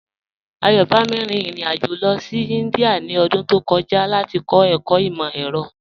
Ayọ̀bámi rín ìrìn-àjọ lọ sí Índíà ní ọdún tó kọ̀jà láti kọ̀ ẹkọ̀ imọ-ẹ̀rọ̀.